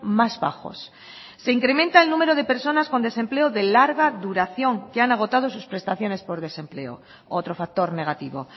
más bajos se incrementa el número de personas con desempleo de larga duración que han agotado sus prestaciones por desempleo otro factor negativo